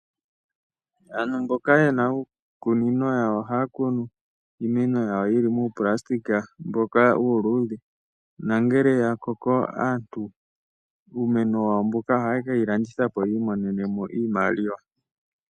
Aantu mboka yena uukunino yawo ohaa kunu uumeno wawo wuli muuplastik mboka uuludhe nangele ya koko aantu uumeno wawo mboka ohaye kewu landitha po yi imonene mo iimaliwa.